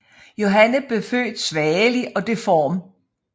Johanne blev født svagelig og deform